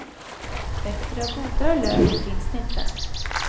Bättre och godare lök finns det inte.